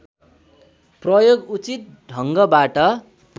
प्रयोग उचित ढङ्गबाट